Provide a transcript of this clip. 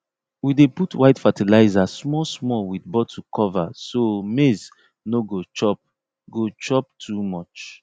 we dey put white fertilizer small small with bottle cover so maize no go chop go chop too much